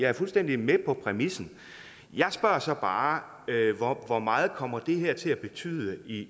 er fuldstændig med på præmissen jeg spørger så bare hvor meget kommer det her til at betyde